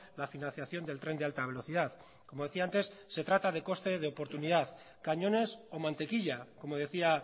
la financiación del tren de alta velocidad como decía antes se trata de coste de oportunidad cañones o mantequilla como decía